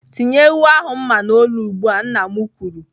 "Tinye ewu ahụ mma n'olu ugbu a!" Nna m kwuru.